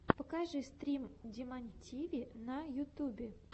покажи стрим димонтиви на ютюбе